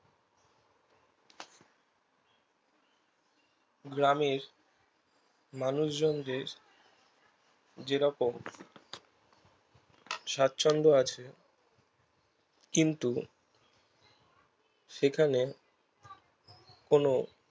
গ্রামের মানুষজন দের যেরকম সাছন্দ আছে কিন্তু সেখানে কোনো